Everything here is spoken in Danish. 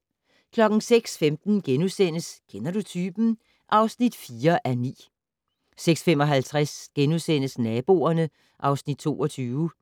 06:15: Kender du typen? (4:9)* 06:55: Naboerne (Afs. 22)*